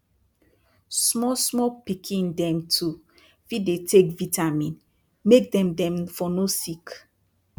small small pikin dem too fit dey take vitamin make dem dem for no sick